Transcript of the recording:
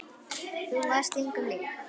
Þú varst engum lík.